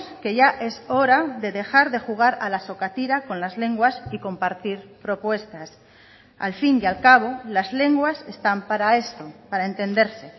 que ya es hora de dejar de jugar a la sokatira con las lenguas y compartir propuestas al fin y al cabo las lenguas están para esto para entenderse